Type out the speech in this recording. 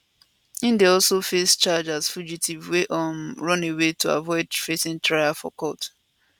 im dey also face charge as fugitive wey um run away to avoid facing trial for court